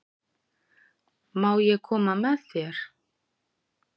Má ég koma með þér?